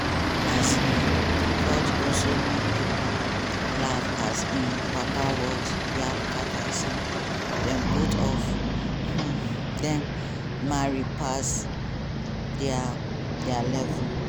um ford also make pipo laugh as im papa words yab carter say di both of um dem "marry pass dia dia level".